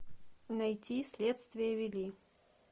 найти следствие вели